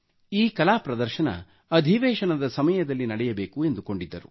ಈ ಕಲಾ ಪ್ರದರ್ಶನ ಅಧಿವೇಶನದ ಸಮಯದಲ್ಲಿ ನಡೆಯಬೇಕು ಎಂದುಕೊಂಡಿದ್ದರು